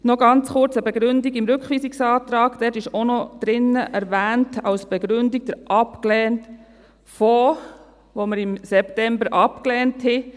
Noch kurz eine Begründung: Im Rückweisungsantrag wird als Begründung auch noch der Fonds erwähnt, den wir im September abgelehnt haben.